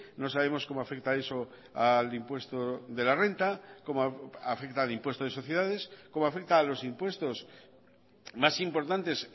no sabemos cómo afecta eso al impuesto de la renta cómo afecta al impuesto de sociedades cómo afecta a los impuestos más importantes